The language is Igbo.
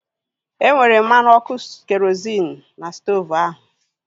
E nwere mmanụ ọkụ kerozịn n'stoovu ahu